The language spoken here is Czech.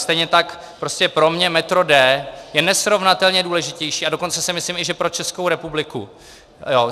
Stejně tak prostě pro mě metro D je nesrovnatelně důležitější, a dokonce si myslím, že i pro Českou republiku.